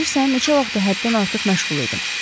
Bilirsən neçə vaxtdır həddən artıq məşğul idim.